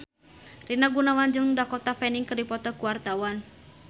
Rina Gunawan jeung Dakota Fanning keur dipoto ku wartawan